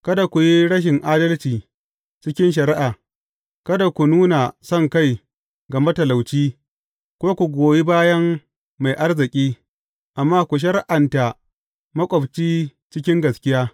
Kada ku yi rashin adalci cikin shari’a; kada ku nuna sonkai ga matalauci, ko ku goyi bayan mai arziki, amma ku shari’anta maƙwabci cikin gaskiya.